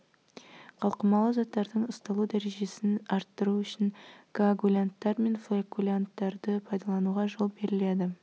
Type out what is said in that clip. қалқымалы заттардың ұсталу дәрежесін арттыру үшін коагулянттар мен флокулянттарды пайдалануға жол беріледі